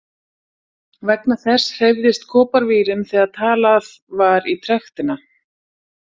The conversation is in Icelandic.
Vegna þess hreyfðist koparvírinn þegar talað var í trektina.